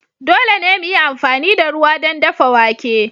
Dole ne mu yi amfani da ruwa don dafa wake.